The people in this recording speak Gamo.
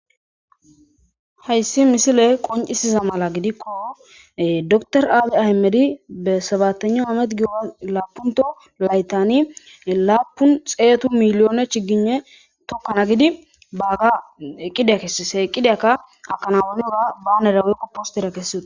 Hayssi misile qoncisiza mala gidikko door aadi ahimedi be sabatana oomed giora laapunto laytani laapun xeetu miliyoone chigine tokkana gidi bagga qidiya kessisheqqidyakka akanawaluura banerawe qoppostera kesseoe.